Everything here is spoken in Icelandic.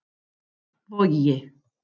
Vogi